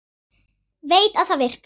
Veit að það virkar.